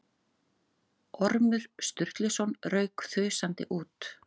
Ormur Sturluson rauk þusandi út.